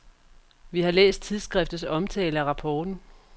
Vi har læst tidsskriftets omtale af rapporten.